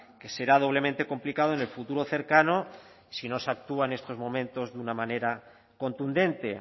que será doblemente complicado en el futuro cercano si no se actúa en estos momentos de una manera contundente